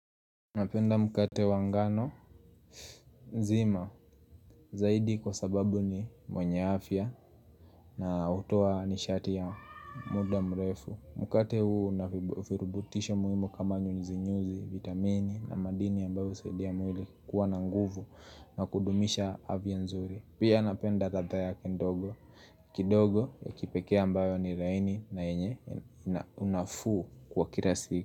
Napenda mkate wa ngano nzima, zaidi kwa sababu ni mwenye afya na hutoa nishati ya muda mrefu Mkate huu unavirubutisho muhimu kama nyunzinyuzi, vitamini na madini ambayo husaidia mwili kuwa na nguvu na kudumisha afya nzuri Pia napenda ladha yake ndogo, kidogo ya kipekee ambayo ni laini na yenye unafuu wa kila siku.